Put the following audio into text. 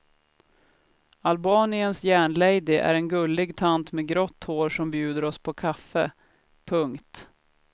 Albaniens järnlady är en gullig tant med grått hår som bjuder oss på kaffe. punkt